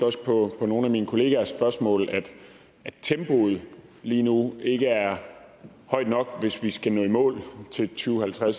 også på nogle af mine kollegers spørgsmål at tempoet lige nu ikke er højt nok hvis vi skal nå i mål til to tusind og